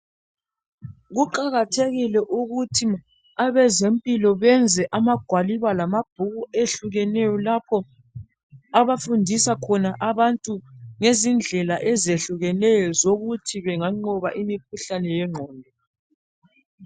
Kuqakathekile abezempilo benze amagwaliba lamabhuku ahlukeneyo lapho abafundisa khona abantu ngezindlela ezehlukeneyo ezokuthi banganqoba imikhuhlane yengqondo